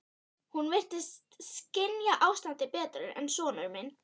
Hún virtist skynja ástandið betur en sonur minn.